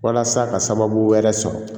Walasa ka sababu wɛrɛ sɔrɔ